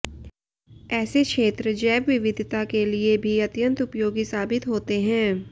ऐसे क्षेत्र जैव विविधता के लिए भी अत्यंत उपयोगी साबित होते हैं